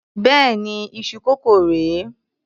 Béèni iṣu kókò rè é.